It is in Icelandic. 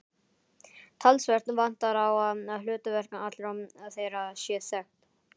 Talsvert vantar á að hlutverk allra þeirra sé þekkt.